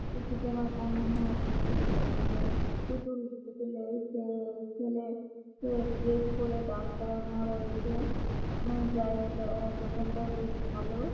পিসিকে মার টাঙানো আছে। এতে পুতুল পুতুলের ছেলে ড্রেস করে দাঁড় করানো রয়েছে। যাই দোকানটা বেশ ভালো।